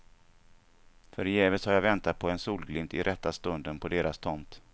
Förgäves har jag väntat på en solglimt i rätta stunden på deras tomt.